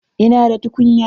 Ina da tukunya.